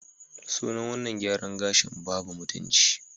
Sunan wannan gyaran gashin "babu mutunci"